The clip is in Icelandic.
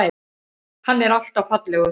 Hann er alltaf fallegur.